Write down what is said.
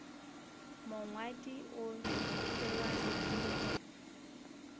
mongwadi o tsebana le go